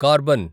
carbon